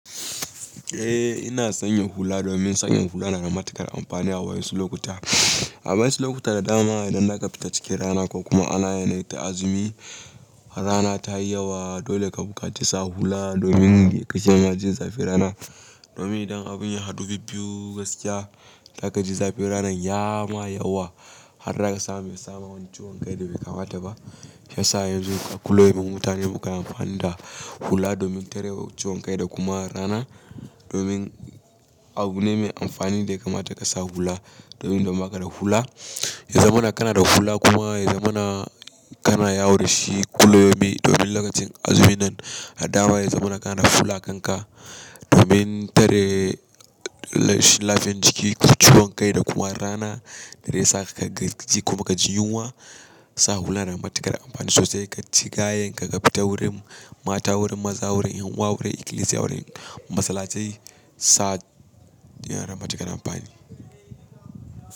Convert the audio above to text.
Eh ina sanya hula domin sakin hula na da matuƙar amfani a wasu lokuta. A wasu lokuta da dama idan za ka fita cikin rana ko kuma ana yanayin ta azumi, rana ta yi yawa, dole ka buƙaci sa hula domin ya kashi ma jin zafin rana. Domin idan abin ya haɗu bibbiyu gaskiya, za ka ji zafin rana ya ma yawa har haka sa me sama wani ciwon kai da bai kamata ba. Yasa yanzu a kulawayen mutane buƙatar amfani da hula domin tare wa ciwon kai da kuma rana. Domin abu ne mai amfani da ya kamata ka sa hula. Domin idan ba ka da hula, ya zamana kana da hula kuma ya zamana kana yawo da shi kulawaye. Domin lokacin azumin nan a dama ya zamana kana da hula a kanka domin tare lafiyan jiki, ciwon kai da kuma rana da zai sa ka ka gaji kuma ka ji yunwa. Sa hula na da matuƙar amfani sosai ka ci gayan ka ka fita wurin mata, wurin maza, wurin yunwa, wurin ikilisiya, wurin masallatai sa yana da matuƙar amfani.